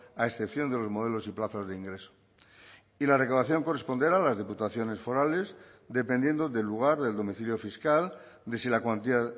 a excepción de los modelos y plazos de ingreso y la recaudación corresponderá a las diputaciones forales dependiendo del lugar del domicilio fiscal de si la cuantía